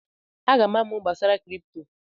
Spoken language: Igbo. Aga m amụ gbasara kripto.